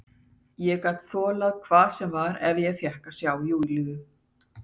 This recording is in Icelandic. Ég gat þolað hvað sem var ef ég fékk að sjá Júlíu.